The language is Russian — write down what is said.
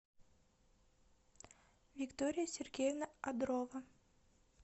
виктория сергеевна адрова